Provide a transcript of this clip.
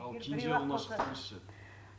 ал кенже ұлына шықсаңыз ше